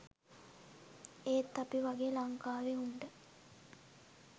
ඒත් අපි වගේ ලංකාවේ උන්ට